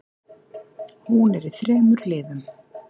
Hún er í þremur liðum.